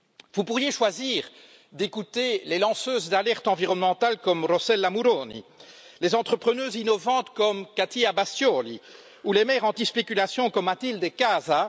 Vous pourriez choisir d'écouter les lanceuses d'alertes environnementales, comme Rossella Muroni, les entrepreneuses innovantes, comme Catia Bastioli, ou les maires anti spéculation, comme Matilde Casa.